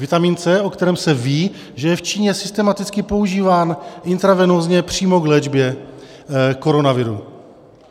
Vitamin C, o kterém se ví, že je v Číně systematicky používán intravenózně přímo k léčbě koronaviru.